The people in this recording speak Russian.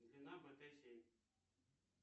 длина бт семь